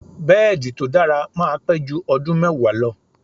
Bẹ́ẹ̀di tó dára máa pẹ́ jú ọdún mẹ́wàá lọ.